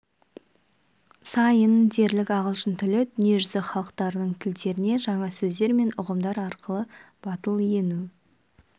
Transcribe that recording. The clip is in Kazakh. сайын дерлік ағылшын тілі дүние жүзі халықтарының тілдеріне жаңа сөздер мен ұғымдар арқылы батыл ену